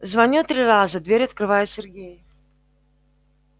звоню три раза дверь открывает сергей